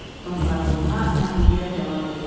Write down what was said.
Donqarburuna məğlubiyyət elan edildi.